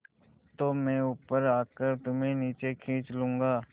तो मैं ऊपर आकर तुम्हें नीचे खींच लूँगा